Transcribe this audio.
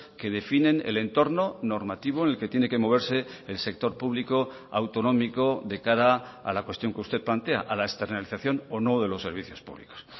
que definen el entorno normativo en el que tiene que moverse el sector público autonómico de cara a la cuestión que usted plantea a la externalización o no de los servicios públicos